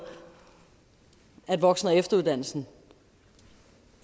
at omfanget af voksen og efteruddannelse